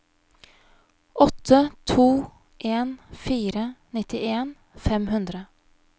åtte to en fire nittien fem hundre